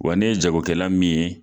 Wa ne ye jago kɛla min ye